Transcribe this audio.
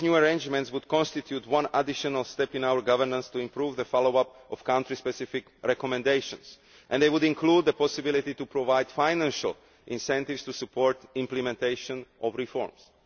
These new arrangements would constitute one additional step in our governance to improve the follow up of country specific recommendations and they would include the possibility to provide financial incentives to support implementation of the reforms.